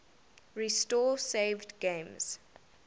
restore saved games